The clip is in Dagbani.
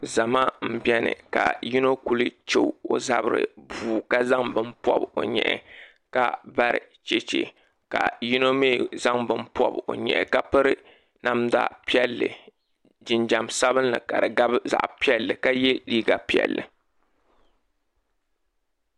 Zama m biɛni ka yino kuli che o zabri puu ka zaŋ bini pobi o nyɛhi ka bari cheche ka yino mee zaŋ bini pobi o nyɛhi ka piri namda piɛlli jinjiɛm sabinli ka di gabi zaɣa piɛlli ka ye liiga piɛlli.